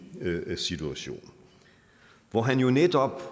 situation hvor han jo netop